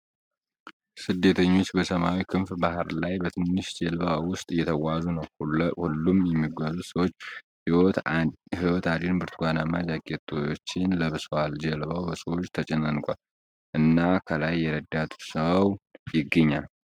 ስደተኞች በሰማያዊው ክፍት ባህር ላይ በትንሽ ጀልባ ውስጥ እየተጓዙ ነው። ሁሉም የሚጓዙት ሰዎች ሕይወት አድን ብርቱካናማ ጃኬቶችን ለብሰዋል። ጀልባው በሰዎች ተጨናንቋል፣ እና ከላይ የረዳት ሰው ይገኛል።